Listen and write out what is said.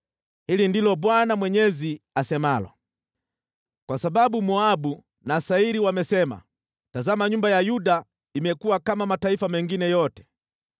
“Hili ndilo Bwana Mwenyezi asemalo: ‘Kwa sababu Moabu na Seiri wamesema, “Tazama, nyumba ya Yuda imekuwa kama mataifa mengine yote,”